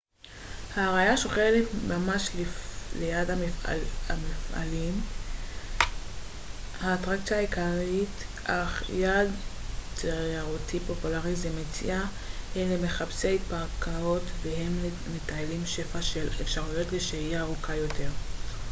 העיירה שוכנת ממש ליד המפלים האטרקציה העיקרית אך יעד תיירותי פופולרי זה מציע הן למחפשי הרפתקאות והן למטיילים שפע של אפשרויות לשהייה ארוכה יותר